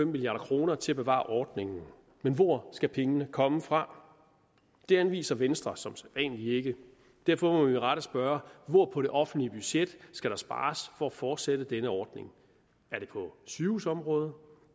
milliard kroner til at bevare ordningen men hvor skal pengene komme fra det anviser venstre som sædvanlig ikke derfor må vi med rette spørge hvor på det offentlige budget skal der spares for at fortsætte denne ordning er det på sygehusområdet